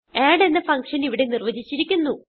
add എന്ന function ഇവിടെ നിർവചിച്ചിരിക്കുന്നു